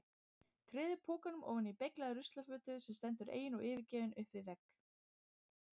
Treður pokanum ofan í beyglaða ruslafötu sem stendur ein og yfirgefin upp við vegg.